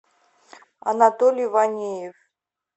анатолий ванеев